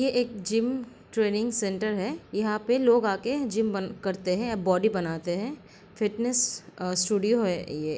ये एक gym training centre है यहाँ पे लोग आके जिम बन करते हैं या बॉडी बनाते हैं | फिटनेस अं स्टूडियो है ये |